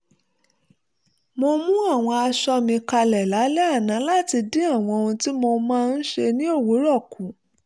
mo mú àwọn aṣọ mi kalẹ̀ lálẹ́ àná láti dín àwọn ohun tí mo máa ń ṣe ní òwúrọ̀ kù